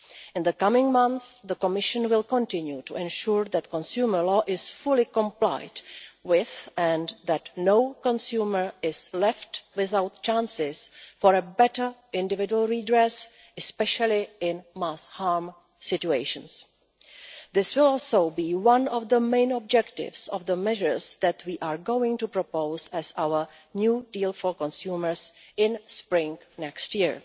In the coming months the Commission will continue to ensure that consumer law is fully complied with and that no consumer is left without the chance for better individual redress, especially in mass harm situations. This will also be one of the main objectives of the measures that we are going to propose as our new deal for consumers in the spring of next year.